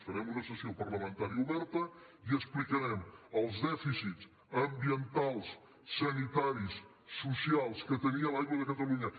farem una sessió parlamentària oberta i explicarem els dèficits ambientals sanitaris socials que tenia l’aigua de catalunya